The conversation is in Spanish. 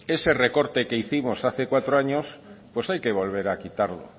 ese recorte que hicimos hace cuatro años hay que volver a quitarlo